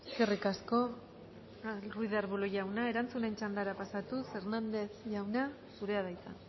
eskerrik asko ruiz de arbulo jauna erantzunen txandara pasatuz hérnandez jauna zurea da hitza